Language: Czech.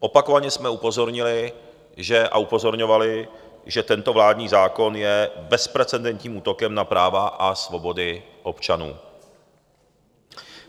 Opakovaně jsme upozornili a upozorňovali, že tento vládní zákon je bezprecedentním útokem na práva a svobody občanů.